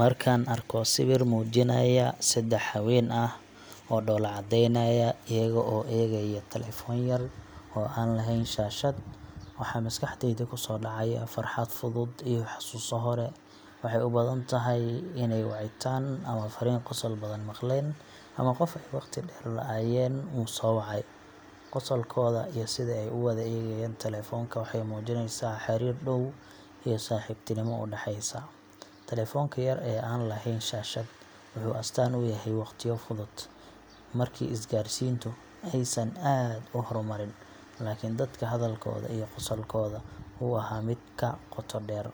Markaan arko sawir muujinaya saddex haween ah oo dhoolla caddaynaya iyaga oo eegaya taleefan yar oo aan lahayn shaashad, waxa maskaxdayda kusoo dhacaya farxad fudud iyo xasuuso hore. Waxay u badan tahay inay wacitaan ama fariin qosol badan maqleen, ama qof ay waqti dheer la’aayeen uu soo wacay. Qosolkooda iyo sida ay u wada eegayaan taleefanka waxay muujinaysaa xiriir dhow iyo saaxiibtinimo u dhaxaysa. Taleefanka yar ee aan lahayn shaashad wuxuu astaan u yahay waqtiyo fudud, markii isgaarsiintu aysan aad u horumarin laakiin dadka hadalkooda iyo qosolkooda uu ahaa mid ka qoto dheer.